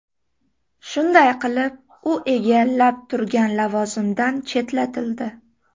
Shunday qilib, u egallab turgan lavozimidan chetlatildi.